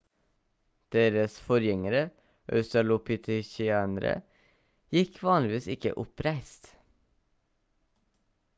deres forgjengere australopithecinerene gikk vanligvis ikke oppreist